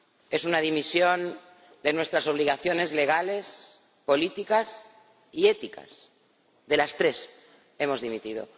Es una dimisión de nuestras obligaciones legales, políticas y éticas de las tres hemos dimitido.